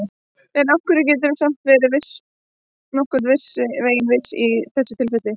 En af hverju geturðu samt verið nokkurn veginn viss í þessu tilviki?